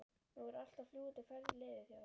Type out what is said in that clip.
Nú allt er á fljúgandi ferð liðið hjá